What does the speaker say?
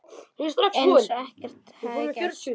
Eins og ekkert hefði gerst.